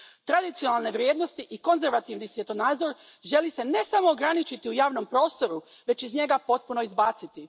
Tradicionalne vrijednosti i konzervativni svjetonazor želi se ne samo ograničiti u javnom prostoru već iz njega potpuno izbaciti.